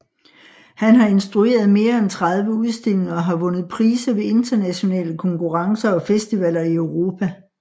Han har instrueret mere end 30 udstillinger og har vundet priser ved internationale konkurrencer og festivaler i Europa